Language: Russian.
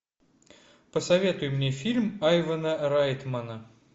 посоветуй мне фильм айвана райтмана